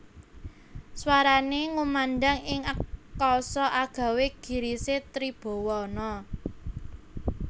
Swarané ngumandhang ing akasa agawé girisé tribawana